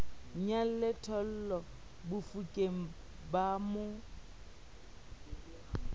nyalle thollo bafokeng ba mo